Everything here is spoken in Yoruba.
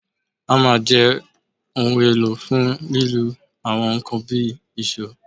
Hammer jẹ ohun elo fun lilu awọn nkan bi eekanna